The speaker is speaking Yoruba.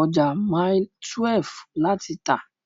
ọjà Mailí 12 láti tà.